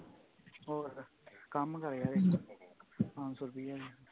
ਹੋਰ ਕੰਮ ਕਰਿਆ ਸੀ ਪੰਜ ਸੌ ਰੁਪਈਆ